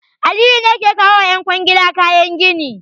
Aliyu ne yake kawo wa ƴan kwangila kayan gini.